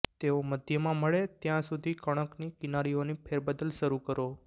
તેઓ મધ્યમાં મળે ત્યાં સુધી કણકની કિનારીઓની ફેરબદલ શરૂ કરો